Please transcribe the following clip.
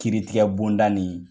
Kiiritigɛ bonda nin